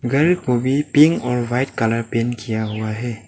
Grill को भी pink और वाइट कलर पेंट किया हुआ है।